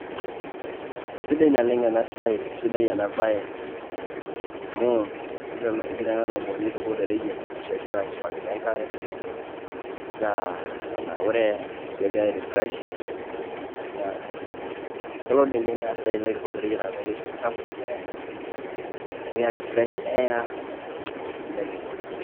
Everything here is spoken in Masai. Sidai naleng' ena siai, sidai ena bae amu egira ena tomononi aituko to reyiet arashu egira aisuakino enkare either etanaure, arashu egira airefresh. Elo diinye naa sidai enilo aituko to reyiet amu keishu olchafu, nekiaki fresh air, naa sidai oleng'.